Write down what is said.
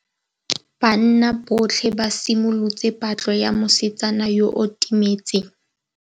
Banna botlhê ba simolotse patlô ya mosetsana yo o timetseng.